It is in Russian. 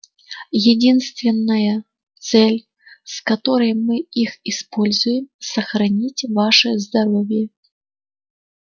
единственная цель с которой мы их используем сохранить ваше здоровье